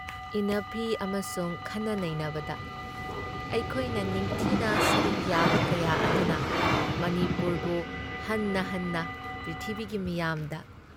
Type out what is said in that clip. ꯏꯟꯅꯐꯤ ꯑꯃꯁꯨꯡ ꯈꯟꯅꯅꯩꯅꯕꯗ ꯑꯩꯈꯣꯏꯅ ꯅꯤꯡꯊꯤꯅ ꯁꯔꯨꯛ ꯌꯥꯕ ꯀꯌꯥ ꯑꯗꯨꯅ ꯃꯅꯤꯄꯨꯔꯕꯨ ꯍꯟꯅ ꯍꯟꯅ ꯄ꯭ꯔꯤꯊꯤꯕꯤꯒꯤ ꯃꯤꯌꯥꯝꯗ